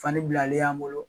Fani bilalen y'an bolo